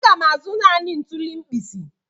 Aga m azụ naanị ntuli mkpisi.